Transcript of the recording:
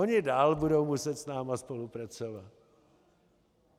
Oni dál budou muset s námi spolupracovat.